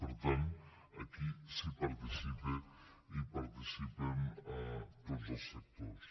per tant aquí s’hi participa i hi participen tots els sectors